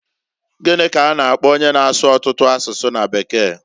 Gini k'a na - akpo onye na-asụ ọtụtụ asụsụ na bekee?